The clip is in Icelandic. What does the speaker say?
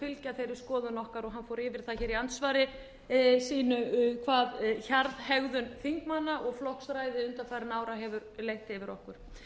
fylgja þeirri skoðun okkar og hann fór yfir það í andsvari sínu hvað hegðun þingmanna og flokksræði undanfarinna ára hefur leitt yfir okkur